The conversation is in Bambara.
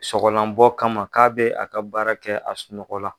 Sɔgɔlan bɔ kama k'a bɛ a ka baara kɛ a sunɔgɔ la.